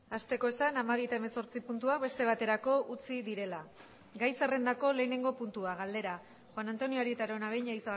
hasteko esan hamabi eta hemezortzi puntuak beste baterako utzi direla gai zerrendako lehenengo puntua galdera juan antonio arieta araunabeña